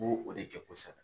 N b'o o de kɛ kosɛbɛ.